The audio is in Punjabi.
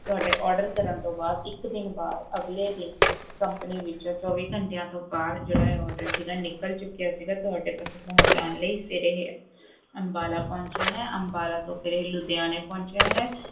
ਤੁਹਾਡੇ order ਕਰਨ ਤੋਂ ਬਾਅਦ ਇੱਕ ਦਿਨ ਬਾਅਦ ਅਗਲੇ ਦਿਨ company ਵਿੱਚ ਚੌਵੀ ਘੰਟਿਆਂ ਤੋਂ ਬਾਅਦ ਜਿਹੜਾ ਇਹ order ਸੀਗਾ ਨਿੱਕਲ ਚੁੱਕਿਆ ਸੀਗਾ ਤੁਹਾਡੇ ਤੱਕ ਪਹੁੰਚਾਉਣ ਲਈ ਫਿਰ ਇਹ ਅੰਬਾਲਾ ਪਹੁੰਚਿਆ ਹੈ, ਅੰਬਾਲਾ ਤੋਂ ਫਿਰ ਇਹ ਲੁਧਿਆਣੇ ਪਹੁੰਚਿਆ ਹੈ,